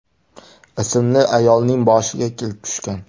ismli ayolning boshiga kelib tushgan.